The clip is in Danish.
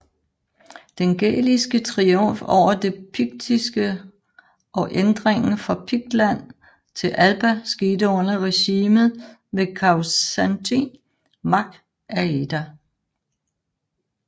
Den gæliske triumf over det piktiske og ændringen fra Piktland til Alba skete under regimet ved Causantín mac Áeda